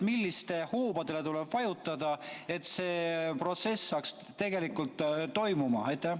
Millistele hoobadele tuleb vajutada, et see protsess saaks tegelikult toimuda?